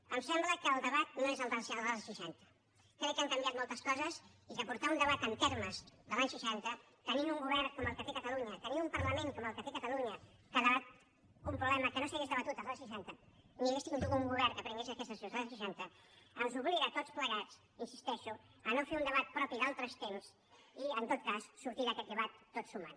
em sembla que el debat no és el dels anys seixanta crec que han canviat moltes coses i que portar un debat en termes dels anys seixanta tenint un govern com el que té catalunya tenint un parlament com el que té catalunya que debat un problema que no s’hauria debatut els anys seixanta ni hauria tingut un govern que prengués aquestes decisions els anys seixanta ens obliga a tots plegats hi insisteixo a no fer un debat propi d’altres temps i en tot cas a sortir d’aquest debat tot sumant